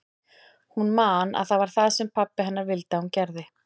Hún man að það var það sem pabbi hennar vildi að hún gerði.